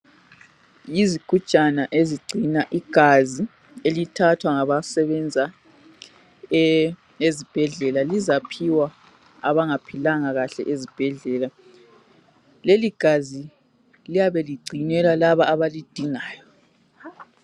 Yizigujana ezigcina igazi. Elithathwa ngabasebenza e..ezibhedlela. Lizaphiwa abangaphilanga kahle. Leligazi, liyabe ligcinelwa labo abalidingayo.